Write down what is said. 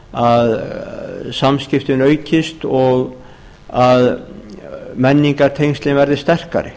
að samskiptin aukist og að menningartengslin verði sterkari